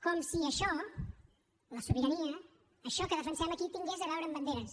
com si això la sobirania això que defensem aquí tingués a veure amb banderes